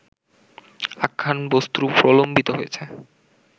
আখ্যানবস্তু প্রলম্বিত হয়েছে